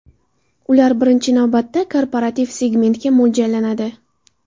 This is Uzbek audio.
Ular, birinchi navbatda, korporativ segmentga mo‘ljallanadi.